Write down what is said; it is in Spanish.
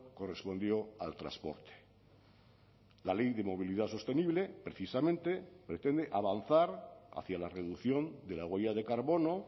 correspondió al transporte la ley de movilidad sostenible precisamente pretende avanzar hacia la reducción de la huella de carbono